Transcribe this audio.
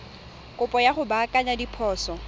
kopo ya go baakanya diphoso